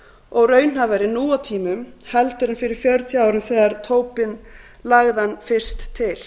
og raunhæfari nú á tímum en fyrir fjörutíu árum þegar tobin lagði hann fyrst til